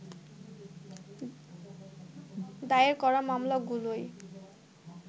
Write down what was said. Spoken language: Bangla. দায়ের করা মামলাগুলোই